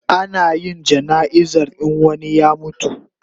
Ana yin jana'izar in wani ya mutu